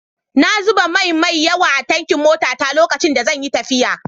Na zuba mai mai yawa a tankin motata lokacin da zan yi tafiya.